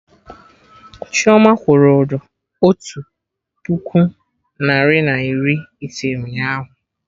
Chioma wụrụ ụdọ otu puku narị na iri ise ụnyaahụ